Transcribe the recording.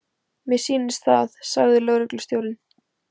Mér sýnist það, sagði lögreglustjórinn.